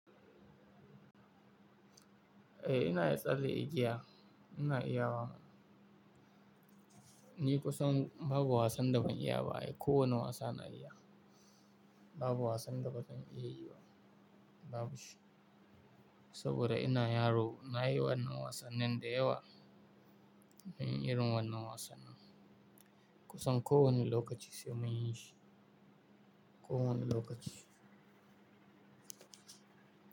Eh ina ya tsalle igiya ina iya wa. Ni kusan babu wasan da ban iya ba ai kowane wasa na iya. Babu wasan da bazan iya yi ba, babu shi. Saboda ina yaro nayi wannan wasannin da yawa. Mun yi irin wannan wasannin. Kusan ko wani lokaci sai mun yi shi, ko wani lokaci.